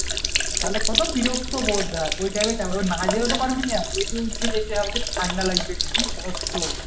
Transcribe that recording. তাহলে কত বিরক্ত হস আহ দেখ ওই time এ না যেয়েও পারবিনা উঠে যেতে হবে ঠান্ডা লাগবে কি কষ্ট।